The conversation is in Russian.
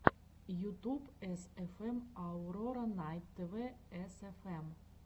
ютуб эсэфэм аурора найт тв эсэфэм